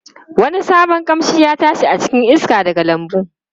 Wani sabon kamshi ya tashi a cikin iska daga lambun.